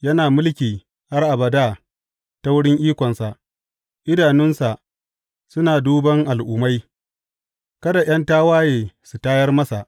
Yana mulki har abada ta wurin ikonsa, idanunsa suna duban al’ummai, kada ’yan tawaye su tayar masa.